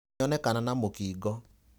Nĩonekana na mũkingo.